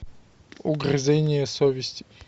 угрызение совести